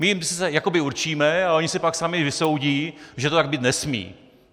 My jim je sice jakoby určíme, ale oni si pak sami vysoudí, že to tak být nesmí.